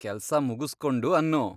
ಕೆಲ್ಸ ಮುಗ್ಸ್ಕೊಂಡು ಅನ್ನು.